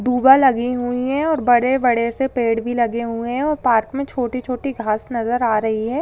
दुर्वा लगी हुई है और बड़े-बड़े से पेड़ भी लगे हुए है और पार्क मे छोटी-छोटी घास नजर आ रही है।